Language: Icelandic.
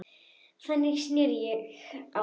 Þannig sneri ég á þá.